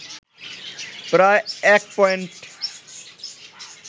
প্রায় ১ পয়েন্ট